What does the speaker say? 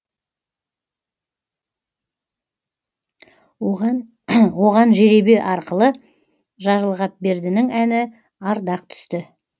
оған жеребе арқылы жарылғапбердінің әні ардақ түсті